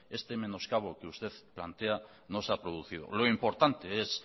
este menoscabo que usted plantea no se ha producido lo importante es